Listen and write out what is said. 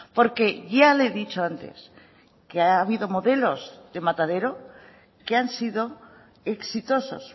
porque ya le he dicho antes que ha habido modelos de matadero que han sido exitosos